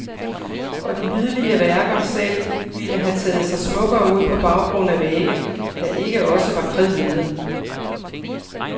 Og de hvidlige værker selv ville have taget sig smukkere ud på baggrund af vægge, der ikke også var kridhvide.